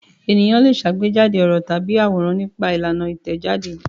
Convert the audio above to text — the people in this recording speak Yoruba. Ènìyàn le ṣàgbéjáde ọ̀rọ̀ tàbí àwòrán nípa ìlànà Ìtẹ̀jáde.